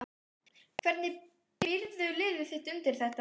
Hvernig býrðu liðið þitt undir þetta?